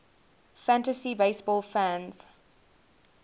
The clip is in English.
fantasy baseball fans